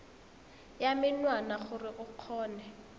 ya menwana gore o kgone